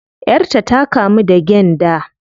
Yar ta ta kamu da gyanda